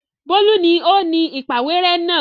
Bólú ni ó ni ìpàwérẹ́ náà.